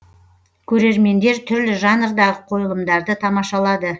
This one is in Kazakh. көрермендер түрлі жанрдағы қойылымдарды тамашалады